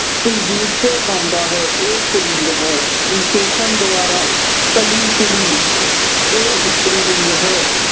ਕੁਲਜੀਤ ਗਾਉਂਦਾ ਹੈ। ਇਹ ਪੁਲਿੰਗ ਹੈ। ਵਿਸ਼ੇਸ਼ਣ ਦੁਆਰਾ- ਕੱਲੀ ਕੁੜੀ। ਇਹ ਇਸਤਰੀ ਲਿੰਗ ਹੈ।